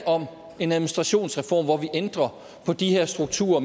om en administrationsreform hvor vi ændrer på de her strukturer